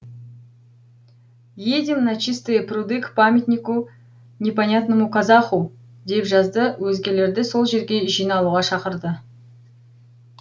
едем на чистые пруды к памятнику непонятному казаху деп жазды өзгелерді сол жерге жиналуға шақырды